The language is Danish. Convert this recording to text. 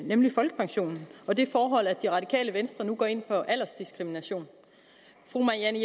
nemlig folkepensionen og det forhold at det radikale venstre nu går ind for aldersdiskrimination fru marianne